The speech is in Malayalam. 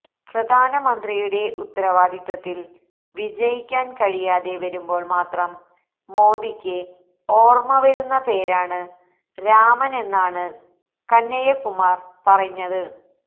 പ്രധാനമന്ത്രിയുടെ ഉത്തരവാദിത്വത്തിൽ വിജയിക്കാൻ കഴിയാതെ വരുമ്പോൾ മാത്രം മോദിക്ക് ഓർമ വരുന്ന പേരാണ് രാമനെന്നാണ് കനയ്യകുമാർ പറഞ്ഞത്